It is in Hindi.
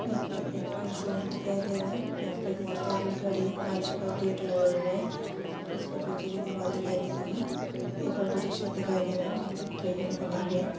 '' यहाँ पर एक शोरूम दिखाई दे रहा है यहाँ पे एक मोटर साइकिल खड़ी हैं काँच का गेट लगा हुआ है जिस पर पीछे की दीवार दिखाई दे रही है एक ऑटो रिक्शा दिखाई दे रहा''''है जिनके बनी हुए है। ''